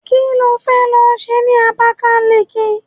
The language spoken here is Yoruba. Kí ló fẹ́ lọ ṣe ní Abakaliki?